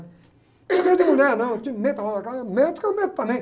Não tenho medo de mulher, não, eu te meto a mão na cara, mete que eu meto também.